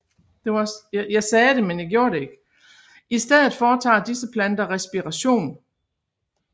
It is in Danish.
I stedet foretager disse planter respiration